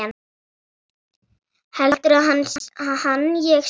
Heldur hann að ég sé.